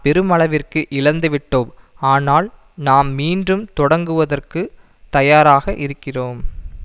பெருமளவிற்கு இழந்துவிட்டோம் ஆனால் நாம் மீண்டும் தொடக்குவதற்கு தயாராகயிருக்கிறோம்